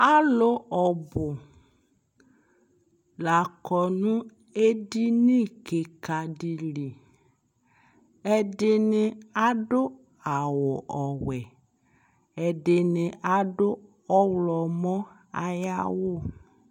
alʋ ɔbʋ lakɔ nʋ ɛdini kikaa dili, ɛdini adʋ awʋ ɔwɛ, ɛdini adʋ ɔwlɔmɔ ayi awʋ